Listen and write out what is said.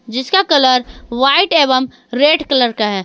जिसका colour white एवं red colour का है।